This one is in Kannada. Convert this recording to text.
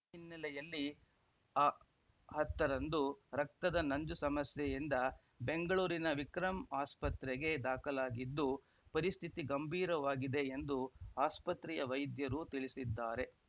ಈ ಹಿನ್ನೆಲೆಯಲ್ಲಿ ಅ ಹತ್ತರಂದು ರಕ್ತದ ನಂಜು ಸಮಸ್ಯೆಯಿಂದ ಬೆಂಗಳೂರಿನ ವಿಕ್ರಂ ಆಸ್ಪತ್ರೆಗೆ ದಾಖಲಾಗಿದ್ದು ಪರಿಸ್ಥಿತಿ ಗಂಭೀರವಾಗಿದೆ ಎಂದು ಆಸ್ಪತ್ರೆಯ ವೈದ್ಯರು ತಿಳಿಸಿದ್ದಾರೆ